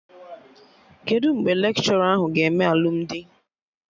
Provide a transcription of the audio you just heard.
Kedụ mgbe lekshọra ahụ ga-eme alụmdi?